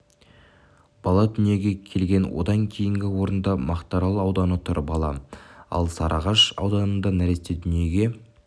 бала дүниеге келген одан кейінгі орында мақтарал ауданы тұр бала ал сарыағаш ауданында нәресте дүниеге